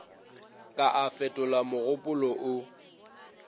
ka a fetola mogopolo o